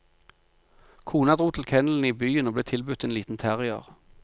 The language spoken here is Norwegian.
Kona dro til kennelen i byen og ble tilbudt en liten terrier.